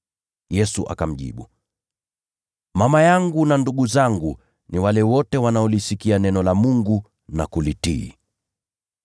Yesu akamjibu, “Mama yangu na ndugu zangu ni wale wote wanaolisikia neno la Mungu na kulifanya.”